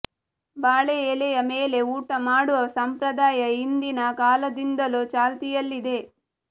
ಬಾಳೆ ಎಲೆಯ ಮೇಲೆ ಊಟ ಮಾಡುವ ಸಂಪ್ರದಾಯ ಹಿಂದಿನ ಕಾಲದಿಂದಲೂ ಚಾಲ್ತಿಯಲ್ಲಿದೆ